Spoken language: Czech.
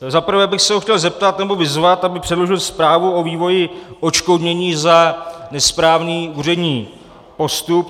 Za prvé bych se ho chtěl zeptat, nebo vyzvat, aby předložil zprávu o vývoji odškodnění za nesprávný úřední postup.